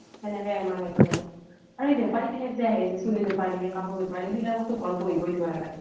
সেনেকে এমাহ লাগি যাব। আৰু এই বেপাৰি বিলাক যে আহে যে চুলি বেপাৰি, কাপোৰ বেপাৰি সেইবিলাককটো ঘৰত বহিবই দিব নালাগে।